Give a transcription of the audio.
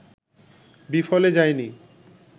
বিফলে যায়নি